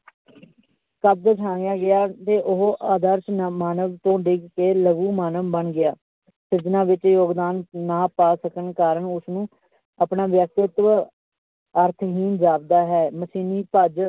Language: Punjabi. ਗਿਆ ਤੇ ਉਹ ਆਦਰਸ਼ ਤੋਂ ਡਿੱਗ ਕੇ ਲਘੂ ਮਾਨਵ ਬਣ ਗਿਆ ਸਿਰਜਣਾ ਵਿੱਚ ਯੋਗਦਾਨ ਨਾ ਪਾ ਸਕਣ ਕਾਰਨ ਉਸਨੂੂੰ ਆਪਣਾ ਵਿਅਕਤਿਤਵ ਅਰਥਹੀਨ ਜਾਪਦਾ ਹੈ ਮਸ਼ੀਨੀ ਭੱਜ